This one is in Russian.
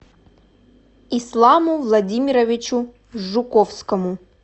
исламу владимировичу жуковскому